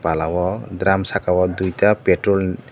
pala o drum saka o duita petrol ni.